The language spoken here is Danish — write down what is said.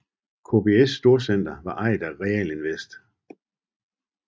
KBS storcenter var ejet af Realinvest